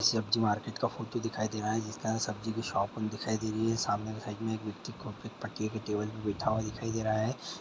सब्जी मार्केट का फोटो दिखाई दे रहा है जिसमें हमें सब्जी की शॉप दिखाई दे रही है सामने साइड मे एक व्यक्ति टेबल में बैठा हुआ दिखाई दे रहा है।